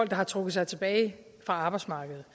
der har trukket sig tilbage fra arbejdsmarkedet